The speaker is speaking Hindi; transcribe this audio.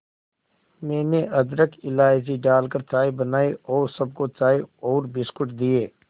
मैंने अदरक इलायची डालकर चाय बनाई और सबको चाय और बिस्कुट दिए